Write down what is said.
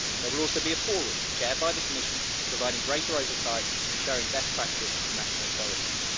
There will also be a forum, chaired by the Commission, providing greater oversight and sharing best practice of national authorities.